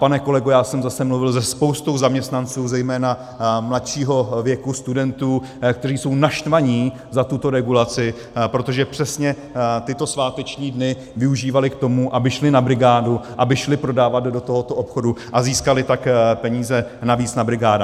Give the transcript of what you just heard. Pane kolego, já jsem zase mluvil se spoustou zaměstnanců, zejména mladšího věku, studentů, kteří jsou naštvaní za tuto regulaci, protože přesně tyto sváteční dny využívali k tomu, aby šli na brigádu, aby šli prodávat do tohoto obchodu, a získali tak peníze navíc na brigádách.